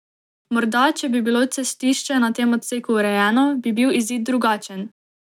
Morda, če bi bilo cestišče na tem odseku urejeno, bi bil izid drugačen.